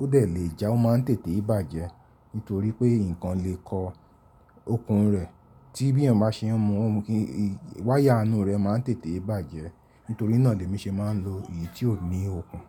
ó dẹ̀ lè já, ó máa ń tètè bàjẹ́ nítorí pé nǹkan lè kọ okùn rẹ̀ tí bí èèyàn bá ṣe ń mu, wire inú rẹ̀ máa ń tètè bàjẹ́. Nítorí náà ni èmi ṣe máa ń lò èyí tí ò ní okùn.